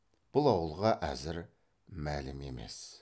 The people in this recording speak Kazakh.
бұл ауылға әзір мәлім емес